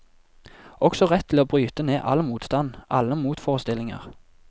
Også rett til å bryte ned all motstand, alle motforestillinger.